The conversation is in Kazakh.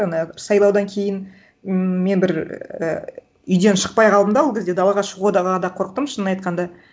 ана сайлаудан кейін мен бір і үйден шықпай қалдым да ол кезде далаға шығуда да қорықтым шынын айтқанда